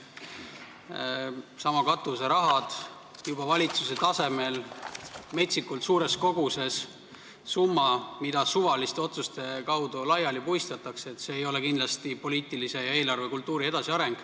Needsamad katuserahad ei räägi kindlasti poliitilise ja eelarvekultuuri arengust – valitsusegi tasemel metsikult suur summa puistatakse suvaliste otsuste põhjal laiali.